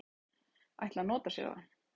ætla að nota sér það.